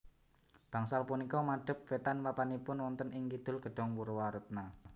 Bangsal punika madep wétan papanipun wonten ing Kidul Gedhong Purwaretna